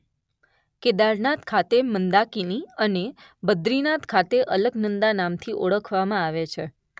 કેદારનાથ ખાતે મંદાકિની અને બદ્રીનાથ ખાતે અલકનંદા નામથી ઓળખવામાં આવે છે.